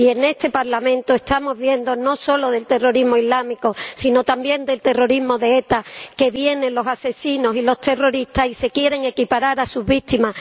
Y en este Parlamento estamos hablando no solo del terrorismo islámico, sino también del terrorismo de ETA, pues vienen los asesinos y los terroristas y se quieren equiparar a sus víctimas.